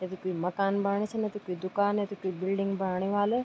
या त कुई मकान बणी छी ना त कुई दूकान या त कुई बिल्डिंग बणी वाल।